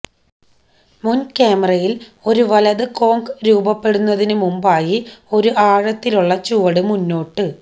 മുൻക്യാമറയിൽ ഒരു വലത് കോങ്ക് രൂപപ്പെടുന്നതിന് മുമ്പായി ഒരു ആഴത്തിലുള്ള ചുവട് മുന്നോട്ട്